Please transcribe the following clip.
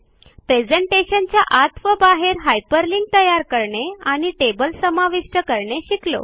प्रेझेंटेशनच्या आत व बाहेर हायपरलिंक तयार करणे आणि टेबल समाविष्ट करणे शिकलो